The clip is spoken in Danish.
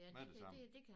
Med det samme